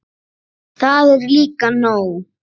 Það er líka nóg.